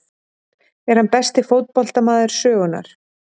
Er hann besti fótboltamaður sögunnar?